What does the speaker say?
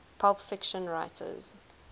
pulp fiction writers